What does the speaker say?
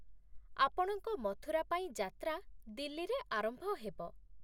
ଆପଣଙ୍କ ମଥୁରାପାଇଁ ଯାତ୍ରା ଦିଲ୍ଲୀରେ ଆରମ୍ଭ ହେବ।